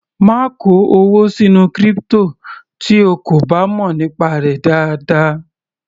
Má kó owó sínú crypto tí o kò bá mọ̀ nípa rẹ̀ dáadáa.